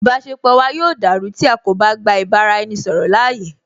Ìbáṣepọ̀ wa yóò dàrú tí a kò bá gba ìbá ra ẹni ṣọ̀rọ̀ láàyè